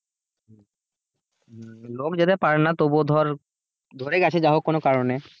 লোক যেতে পারে না তবুও ধর ধরে গেছে যা হোক কোনো কারণে।